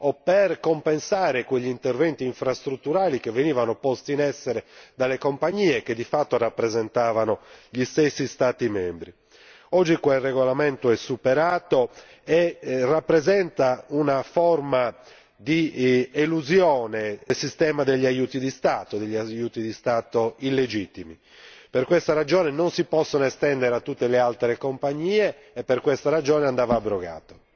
o per compensare quegli interventi infrastrutturali che venivano posti in essere dalle compagnie che di fatto rappresentavano gli stessi Stati membri. Oggi quel regolamento è superato e rappresenta una forma di elusione del sistema degli aiuti di Stato e degli aiuti di Stato illegittimi. Per questa ragione non si possono estendere a tutte le altre compagnie e per questa ragione andava abrogato.